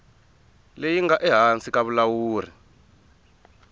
leyi nga ehansi ka vulawuri